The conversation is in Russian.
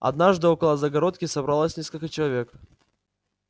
однажды около загородки собралось несколько человек